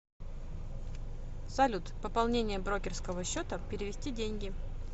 салют пополнение брокерского счета перевести деньги